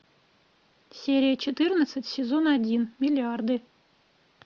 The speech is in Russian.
серия четырнадцать сезон один миллиарды